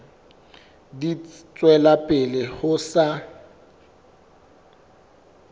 di tswela pele ho sa